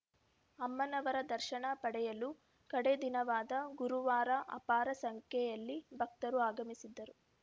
ಅಮ್ಮನವರ ದರ್ಶನ ಪಡೆಯಲು ಕಡೇ ದಿನವಾದ ಗುರುವಾರ ಅಪಾರ ಸಂಖ್ಯೆಯಲ್ಲಿ ಭಕ್ತರು ಆಗಮಿಸಿದ್ದರು